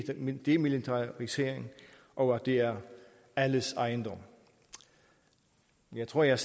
nemlig demilitarisering og at det er alles ejendom jeg tror jeg